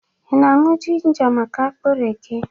Ị na-añwụ jinja maka akpịrị gị?